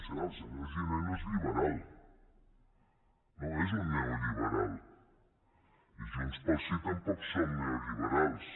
clar el senyor giner no és liberal no és un neoliberal i junts pel sí tampoc som neoliberals